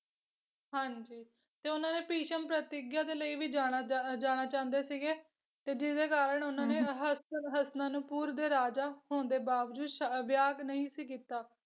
ਹਾਂਜੀ ਤੇ ਉਹਨਾਂ ਦੇ ਭਿਸ਼ਮ ਪ੍ਰਤਿਗਿਆ ਦੇ ਲਈ ਵੀ ਜਾਣਾ ਜਾ ਜਾਣਾ ਜਾਂਦੇ ਸੀਗੇ, ਤੇ ਜੀਹਦੇ ਕਾਰਨ ਉਹਨਾਂ ਨੇ ਹਸਤ ਹਸਤੀਨਾਪੁਰ ਦੇ ਰਾਜਾ ਹੋਣ ਦੇ ਬਾਵਜੂਦ ਵਿਆਹ ਨਹੀਂ ਸੀ ਕੀਤਾ।